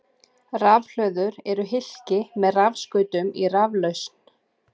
Rafhlöður eru hylki með rafskautum í raflausn.